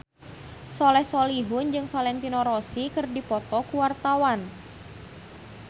Soleh Solihun jeung Valentino Rossi keur dipoto ku wartawan